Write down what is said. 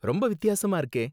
ரொம்ப வித்தியாசமா இருக்கே!